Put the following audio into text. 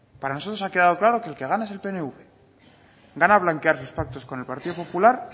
para nosotros ha quedado claro que el que gana es el pnv gana blanquear sus pactos con el partido popular